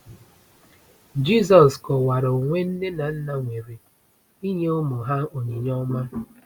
Jisọs kọwara onwe nne na nna nwere “ịnye ụmụ ha onyinye ọma.”